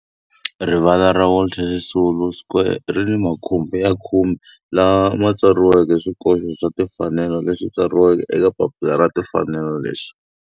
Rivala ra Walter Sisulu Square ri ni makhumbi ya khume lawa ma tsariweke swikoxo swa timfanelo leswi tsariweke eka papila ra timfanelo leswi.